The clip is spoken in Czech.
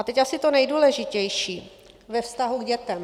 A teď asi to nejdůležitější - ve vztahu k dětem.